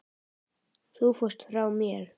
Þú fórst frá mér.